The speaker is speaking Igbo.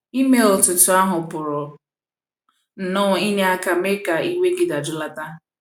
ịme otú otú ahụ pụrụ nnọọ inye aka mee ka iwe gị dajụlata.